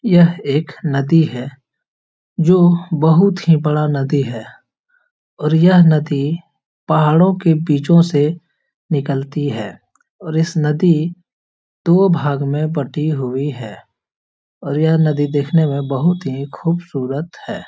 यह एक नदी है जो बहुत ही बड़ा नदी है और यह नदी पहाड़ों के बीचों से निकलती है और इस नदी दो भागों में बटी हुई है और यह नदी देखने में बहुत ही खूबसूरत है ।